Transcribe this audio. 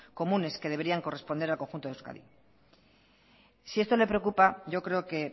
comunes que deberían corresponder al conjunto de euskadi si esto le preocupa yo creo que